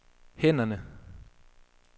hænderne